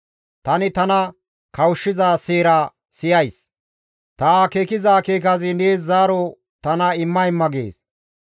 Tani tana kawushshiza seera siyays; ta akeekiza akeekazi tana nees zaaro imma imma gees.